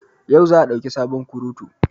Yau za a dauki sabon kurutu